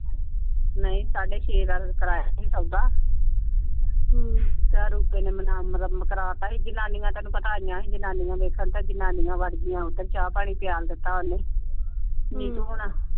ਨਹੀਂ ਸਾਡੇ ਛੇ ਦਾ ਕਰਾਇਆ ਸੀ ਸੌਦਾ ਕਰਾ ਤਾਂ ਸੀ। ਜਨਾਨੀਆਂ ਤੈਨੂੰ ਪਤਾ ਆਈਆਂ ਸੀ ਜਨਾਨੀਆਂ ਵੇਖਣ। ਤੇ ਜਨਾਨੀਆਂ ਵੜ੍ਹ ਗਈਆਂ ਓਧਰ ਚਾਹ ਪਾਣੀ ਪਿਆਲ ਦਿੱਤਾ ਓਹਨੇ ਨੀਤੂ ਹੁਣਾ।